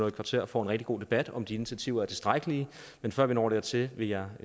et kvarter får en rigtig god debat om om de initiativer er tilstrækkelige men før vi når dertil vil jeg